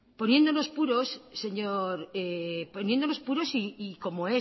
poniéndonos puros señor poniéndonos puros y como